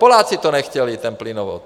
Poláci to nechtěli ten plynovod.